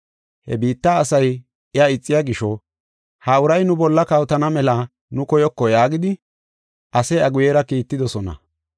“He biitta asay iya ixiya gisho, ha uray nu bolla kawotana mela nu koyoko yaagidi ase iya guyera kiittidosona.